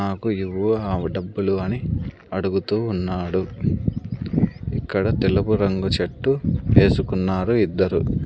నాకు ఇవ్వు ఆమె డబ్బులు అని అడుగుతూ ఉన్నాడు ఇక్కడ తెలుపు రంగు షట్టు వేసుకున్నారు ఇద్దరు.